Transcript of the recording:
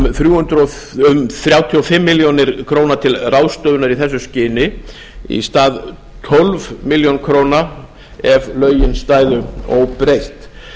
um þrjátíu og fimm milljónir króna til ráðstöfunar í þessu skyni í stað tólf milljónir króna ef lögin stæðu óbreytt